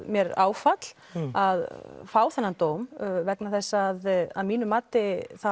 mér áfall að fá þennan dóm vegna þess að að mínu mati